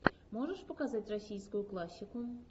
можешь показать российскую классику